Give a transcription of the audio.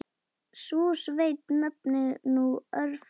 Sú sveit nefnist nú Öræfi.